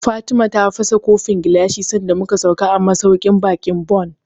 Fatima ta fasa kofin gilashi sanda mu ka sauka a masauƙin baƙin Bon